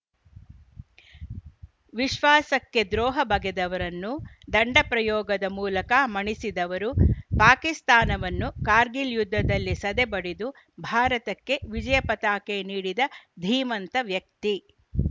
ವಿಶ್ವಾಸಕ್ಕೆ ದ್ರೋಹ ಬಗೆದವರನ್ನು ದಂಡ ಪ್ರಯೋಗದ ಮೂಲಕ ಮಣಿಸಿದವರು ಪಾಕಿಸ್ತಾನವನ್ನು ಕಾರ್ಗಿಲ್‌ ಯುದ್ಧದಲ್ಲಿ ಸದೆಬಡಿದು ಭಾರತಕ್ಕೆ ವಿಜಯ ಪತಾಕೆ ನೀಡಿದ ಧೀಮಂತ ವ್ಯಕ್ತಿ